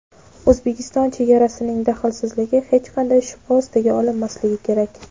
O‘zbekiston chegarasining daxlsizligi hech qanday shubha ostiga olinmasligi kerak.